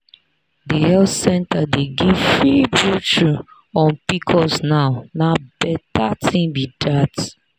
the health center dey give free brochure on pcos now na better thing be that.